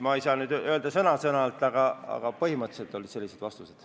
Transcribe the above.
Ma ei saa neid edasi anda sõna-sõnalt, aga põhimõtteliselt olid sellised vastused.